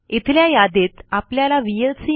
इथल्या यादीत आपल्याला व्हीएलसी